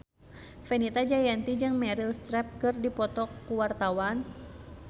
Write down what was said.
Fenita Jayanti jeung Meryl Streep keur dipoto ku wartawan